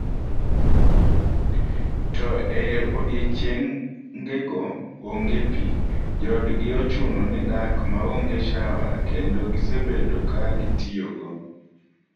To e odiechiengego onge pi, joodgi ochuno ni dak maonge shawa kendo gisebedo ka gitiyogo.